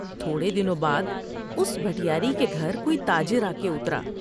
تھوڑے دنوں بعد اس بیٹیاری کے گھر کوئی تاجر آ کے اترا ۔